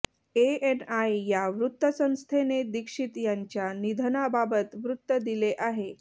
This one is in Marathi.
एएनआय या वृत्तसंस्थेने दीक्षित यांच्या निधनाबाबत वृत्त दिले आहे